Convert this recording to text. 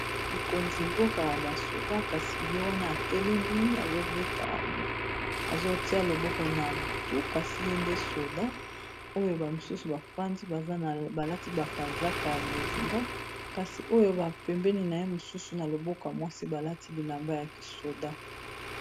Mikonzi mboka ya ba soda kasi ye wana atelemi azo beta azotia loboko na motu kasi ye nde soda oyo ba mususu bafandi baza na balati bakazaka ya bozinga kasi oyo ba pembeni na ye mosusu na loboka mwasi balati bilamba ya kisoda.